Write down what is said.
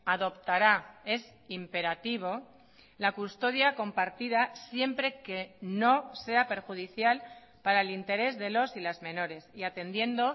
adoptará es imperativo la custodia compartida siempre que no sea perjudicial para el interés de los y las menores y atendiendo